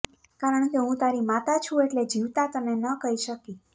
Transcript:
કારણ કે હું તારી માતા છું એટલે જીવતા તને કહી ન શકી